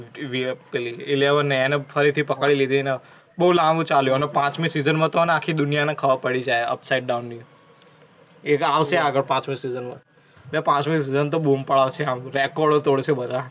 પેલી Eleven હે એને ફરીથી પકડી લિધી અને બઉ લાંબુ ચાલ્યુ અને પાંચમી season માં તો આખી દુનિયા ને ખબર પડી જાય હે upside down ની. એ આવશે આગળ પાંચમી season માં. પાંચમી season તો બુમ પડાવશે. record ઓ તોડશે બધા.